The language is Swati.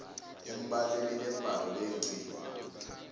eminyakeni lembalwa leyengcile